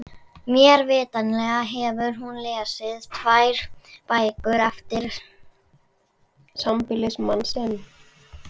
Mér vitanlega hefur hún lesið tvær bækur eftir sambýlismann sinn.